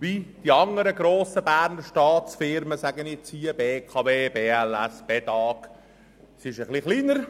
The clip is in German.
Die Stiftung Berner Gesundheit (Beges) ist etwas kleiner.